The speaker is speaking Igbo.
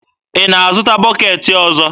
Ị na-azụta bọketị ọzọ?